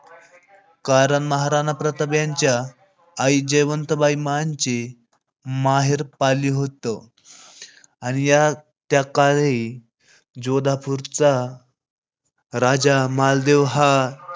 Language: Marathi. कारण महाराणा प्रताप यांच्या आई जयवंताबाई यांचे माहेर पाली होत. आणि त्या काळी जोधापुर चा राजा मालदेव हा